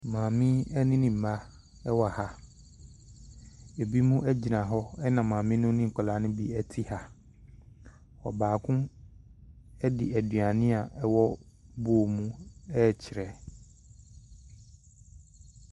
Maame yi ne ne mma wɔ ha. Ɛbinom gyina hɔ, ɛna maame no ne nkwadaa no bi te ha. Ɔbaako de aduane a ɛwɔ bowl mu rekyerɛ.